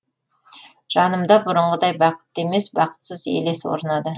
жанымда бұрынғыдай бақытты емес бақытсыз елес орнады